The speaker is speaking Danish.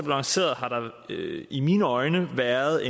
lanceret har der i mine øjne været